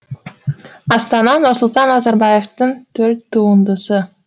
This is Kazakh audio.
астана нұрсұлтан назарбаевтың төл туындысы